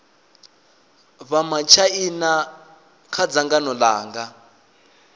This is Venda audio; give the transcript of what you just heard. vha matshaina kha dzangano langa